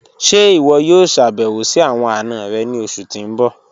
Ṣẹ́ iwọ yọ̀o ṣàbẹ̀wò sí awọn ana rẹ̀ ni ọṣù tí n bọ̀?